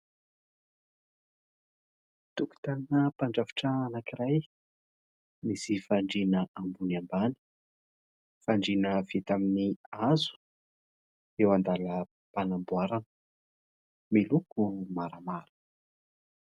Tokotanina mpandrafitra anankiray, misy fandriana ambony ambany. Fandriana vita amin'ny hazo, eo an-dalam-panamboarana, miloko maramara.